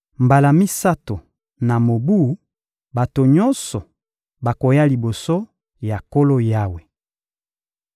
Mbala misato na mobu, bato nyonso bakoya liboso ya Nkolo Yawe.